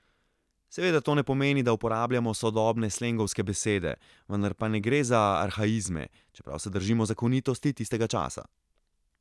Seveda to ne pomeni, da uporabljamo sodobne slengovske besede, vendar pa ne gre za arhaizme, čeprav se držimo zakonitosti tistega časa.